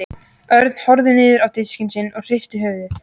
Örn horfði niður á diskinn sinn og hristi höfuðið.